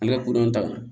An bɛ kodɔn ta